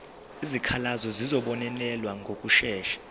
izikhalazo zizobonelelwa ngokushesha